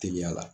Teliya la